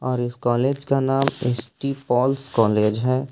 और इस कॉलेज का नाम एस_टी पॉलस कॉलेज है।